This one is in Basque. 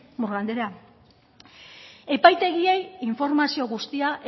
murga andrea epaitegiei informazio guztia